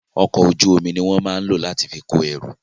Ọkọ̀ ojú omi ni wón máa ń lò láti fi kó ẹrù